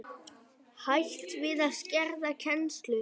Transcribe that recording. Hætt við að skerða kennslu